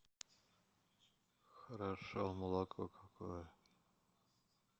хорошо молоко какое